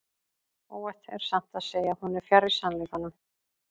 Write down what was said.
Óhætt er samt að segja að hún er fjarri sannleikanum.